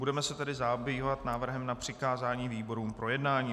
Budeme se tedy zabývat návrhem na přikázání výborům k projednání.